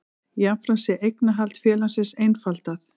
Jafnframt sé eignarhald félagsins einfaldað